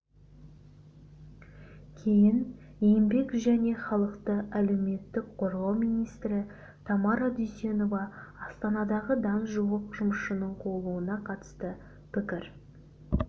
кейін еңбек және халықты әлеуметтік қорғау министрі тамара дүйсенова астанадағы дан жуық жұмысшының қуылуына қатысты пікір